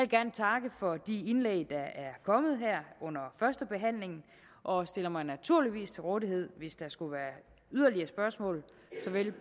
gerne takke for de indlæg der er kommet her under førstebehandlingen og stiller mig naturligvis til rådighed hvis der skulle være yderligere spørgsmål såvel